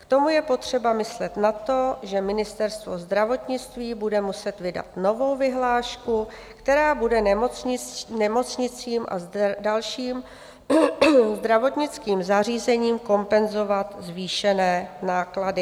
K tomu je potřeba myslet na to, že Ministerstvo zdravotnictví bude muset vydat novou vyhlášku, která bude nemocnicím a dalším zdravotnickým zařízením kompenzovat zvýšené náklady.